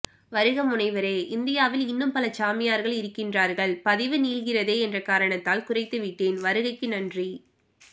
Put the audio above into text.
வருக முனைவரே இந்தியாவில் இன்னும் பல சாமியார்கள் இருக்கின்றார்கள் பதிவு நீள்கிறதே என்ற காரணத்தால் குறைத்து விட்டேன் வருகைக்கு நன்றி